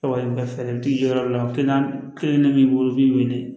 Ka wari ka fɛntigi yɔrɔ la kelen kelen b'i bolo b'i weele